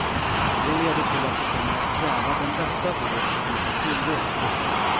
Det leder till att de kommer att kräva den bästa vård som finns att tillgå.